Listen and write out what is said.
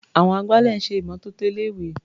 Àwọn agbálẹ̀ ń ṣè ìmọ́tótó ilé-ìwé.